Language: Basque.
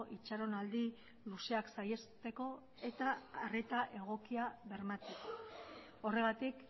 itxaronaldi luzeak saihesteko eta arreta egokia bermatzeko horregatik